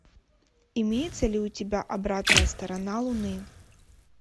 имеется ли у тебя обратная сторона луны